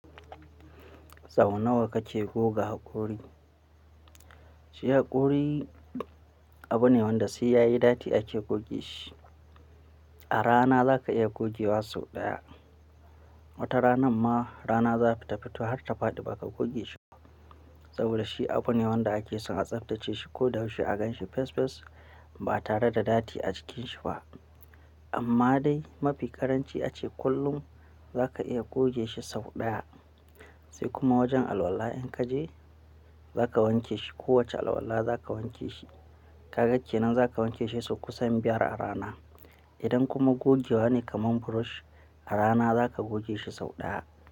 Sau nawa kake goga hakori? Shi hakori abu ne wanda sai ya yi datti ake goge shi. A rana za ka iya goge wa sau ɗaya. Wata rana ma rana za fita fito har ta faɗi ba ka goge shi ba. Saboda shi abu ne wanda ake son a tsaftace shi ko da yaushe a gan shi fes fes ba tare da datti a cikin shi ba. Amma dai mafi ƙaranci ace kullum za ka iya goge shi sau ɗaya. Sai kuma wajen alwala in ka je za ka wanke shi. Kowacce alwala za ka wanke shi. Ka ga kenan za ka wanke shi sau kusan biyar a rana. Idan kuma goge wa ne kaman brush, a rana za ka goge shi sau ɗaya.